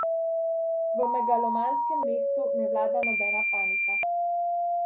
V megalomanskem mestu ne vlada nobena panika.